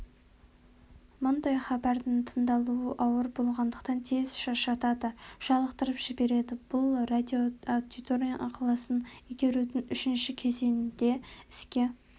мұндай хабардың тыңдалуы ауыр болғандықтан тез шаршатады жалықтырып жібереді бұл радиоаудитория ықыласын игерудің үшінші кезеңінде іске